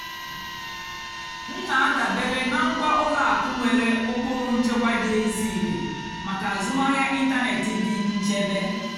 m nà-àdàbéré nà ngwá ùlọ àkụ́ nwèrè ụ́kpụ́rụ́ nchèkwà dì ézílé màkà àzụ́mahìá ị́ntánètị́ dì nchèbè.